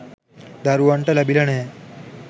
දරුවන්ට ලැබිලා නැහැ